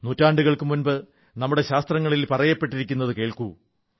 നൂറ്റാണ്ടുകൾക്കുമുമ്പ് നമ്മുടെശാസ്ത്രങ്ങളിൽ പറയപ്പെട്ടിരിക്കുന്നതു കേൾക്കൂ